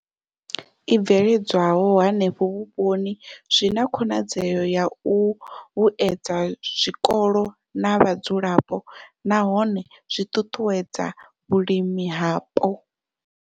I bveledzwaho henefho vhuponi zwi na khonadzeo ya u vhuedza zwikolo na vhadzulapo nahone zwi ṱuṱuwedza vhulimi hapo.